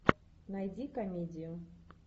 найди комедию